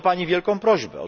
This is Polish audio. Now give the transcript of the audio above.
Mam do Pani wielką prośbę.